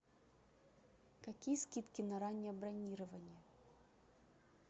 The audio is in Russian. какие скидки на раннее бронирование